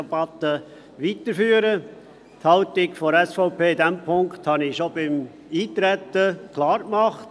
Die Haltung der SVP in diesem Punkt habe ich bereits bei der Eintretensdebatte klar gemacht.